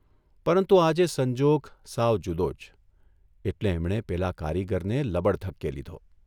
પરંતુ આજે સંજોગ સાવ જુદોજ એટલે એમણે પેલા કારીગરને લબડધક્કે લીધો.